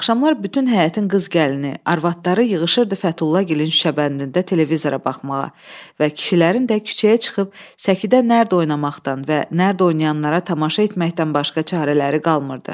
Axşamlar bütün həyətin qız gəlini, arvadları yığışırdı Fətullagilin şüşəbəndində televizora baxmağa və kişilərin də küçəyə çıxıb səkidə nərd oynamaqdan və nərd oynayanlara tamaşa etməkdən başqa çarələri qalmırdı.